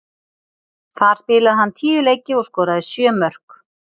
Þar spilaði hann tíu leiki og skoraði sjö mörk.